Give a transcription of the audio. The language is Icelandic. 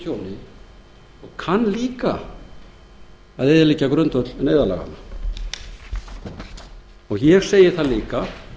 tjóni og kann líka að eyðileggja grundvöll neyðarlaganna og ég segi líka